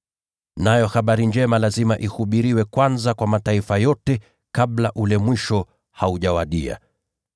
Nayo habari njema lazima ihubiriwe kwanza kwa mataifa yote kabla ule mwisho haujawadia.